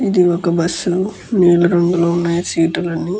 ఇది ఒక బస్సు . నీలి రంగులో ఉన్నాయి సీటు లన్ని.